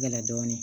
Gɛlɛ dɔɔnin